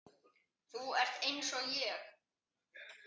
Þú ert einsog ég.